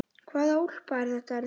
Hvaða úlpa er þetta, elskan?